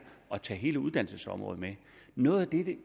at tage hele uddannelsesområdet med noget